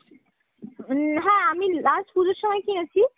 নাহ , আমি last পুজোর সময় কিনেছি।